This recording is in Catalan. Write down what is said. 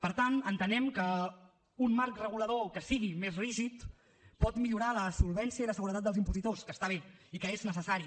per tant entenem que un marc regulador que sigui més rígid pot millorar la solvència i la seguretat dels impositors que està bé i que és necessari